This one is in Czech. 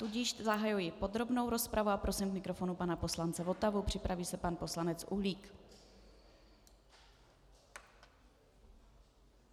Tudíž zahajuji podrobnou rozpravu a prosím k mikrofonu pana poslance Votavu, připraví se pan poslanec Uhlík.